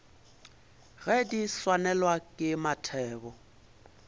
ge di swanelwa ke mathebo